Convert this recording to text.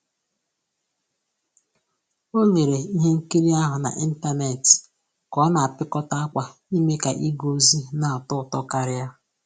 O lere ihe nkiri ahụ na ịntanetị ka ọ na apịkọta akwa ime ka ịga ozi na atọ ụtọ karịa